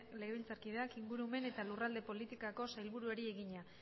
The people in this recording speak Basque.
legebiltzarkideak ingurumen eta lurralde politikako sailburuari egina